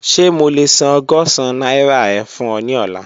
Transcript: Ṣe mo le san ọgọ́sán naira e fun ọ ni ọla?